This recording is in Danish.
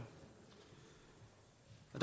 og